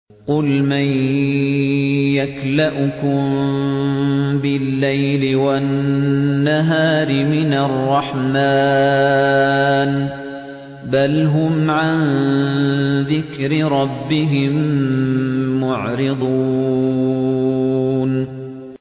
قُلْ مَن يَكْلَؤُكُم بِاللَّيْلِ وَالنَّهَارِ مِنَ الرَّحْمَٰنِ ۗ بَلْ هُمْ عَن ذِكْرِ رَبِّهِم مُّعْرِضُونَ